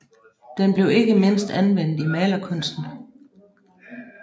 Den blev ikke mindst anvendt i malerkunsten